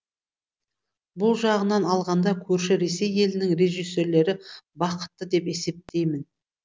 бұл жағынан алғанда көрші ресей елінің режиссерлері бақытты деп есептеймін